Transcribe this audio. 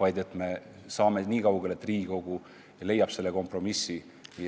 Usutavasti saame niikaugele, et Riigikogu leiab kompromissi